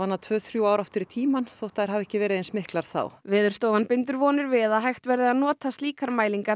ná tvö til þrjú ár aftur í tímann þótt þær hafi ekki verið eins miklar þá Veðurstofan bindur vonir við að hægt verði að nota slíkar mælingar